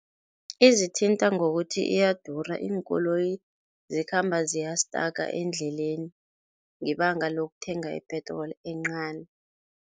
Izithintha ngokuthi iyadura, iinkoloyi zikhamba ziyastaka endleleni ngebanga lokuthenga ipetroli encani.